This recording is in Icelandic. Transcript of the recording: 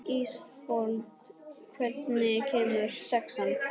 Ísafold, hvenær kemur sexan?